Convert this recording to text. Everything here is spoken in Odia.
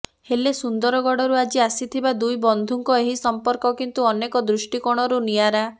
ହେଲେ ସୁନ୍ଦରଗଡରୁ ଆଜି ଆସିଥିବା ଦୁଇ ବନ୍ଧୁଙ୍କ ଏହି ସଂପର୍କ କିନ୍ତୁ ଅନେକ ଦୃଷ୍ଟି କୋଣରୁ ନିଆରା